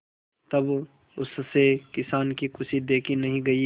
तब उससे किसान की खुशी देखी नहीं गई